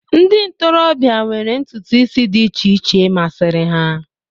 ndị ntorobịa nwere ntutu isi dị iche iche masịrị ha